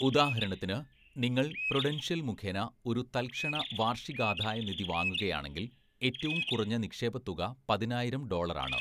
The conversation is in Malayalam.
ഉദാഹരണത്തിന്, നിങ്ങൾ പ്രുഡൻഷ്യൽ മുഖേന ഒരു തല്‍ക്ഷണ വാര്‍ഷികാദായനിധി വാങ്ങുകയാണെങ്കിൽ, ഏറ്റവും കുറഞ്ഞ നിക്ഷേപ തുക പതിനായിരം ഡോളര്‍ ആണ്.